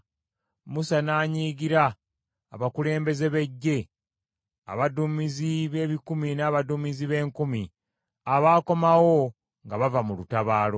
Musa n’anyiigira abakulembeze b’eggye, abaduumizi b’ebikumi n’abaduumizi b’enkumi abaakomawo nga bava mu lutabaalo.